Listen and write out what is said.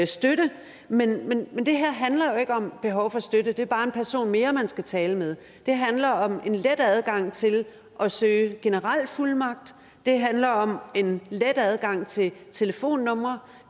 støtte men det her handler ikke om behov for støtte for det er bare en person mere man skal tale med det handler om en let adgang til at søge generel fuldmagt det handler om en let adgang til telefonnumre